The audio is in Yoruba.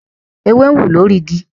ewé ń wú lórí ìgi